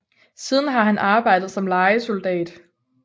Siden har han arbejdet som lejesoldat